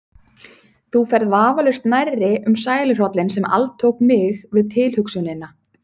Þú ferð vafalaust nærri um sæluhrollinn sem altók mig við tilhugsunina.